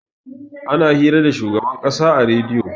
ana hira da shugaban kasa a rediyo